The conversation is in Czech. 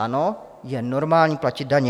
Ano, je normální platit daně.